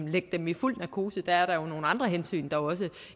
lægge dem i fuld narkose der er jo også nogle andre hensyn